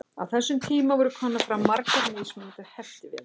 á þessum tíma voru komnar fram margar mismunandi heftivélar